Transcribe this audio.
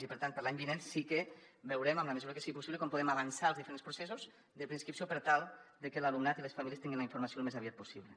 i per tant per a l’any vinent sí que veurem en la mesura que sigui possible com podem avançar els diferents processos de preinscripció per tal de que l’alumnat i les famílies tinguin la informació al més aviat possible